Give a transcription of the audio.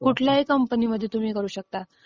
हा, हा. कुठल्याही कंपनीमध्ये तुम्ही करू शकता.